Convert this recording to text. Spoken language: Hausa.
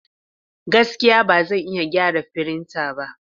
Gaskiya! Ba zan iya gyara firinta ba.